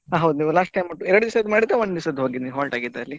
ಆ ಹೌದು ನೀವು last time ನೀವು ಎರಡ್ ದಿವಸದ್ ಮಾಡಿದ್ದ ಒಂದ್ ದಿವಸ halt ಆಗಿದ್ದ ಅಲ್ಲಿ.